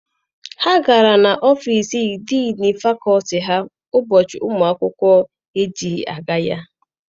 Ha gara n'ọfịịsi diinu fakọlti Ha ụbọchị ụmụ akwụkwọ ejighị aga ya.